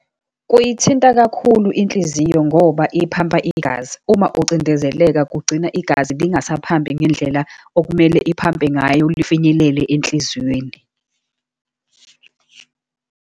Kuyithinta kakhulu inhliziyo, ngoba iphampa igazi. Uma ucindezeleka kugcina igazi lingasaphampi ngendlela okumele iphampe ngayo lifinyelele enhlizweni.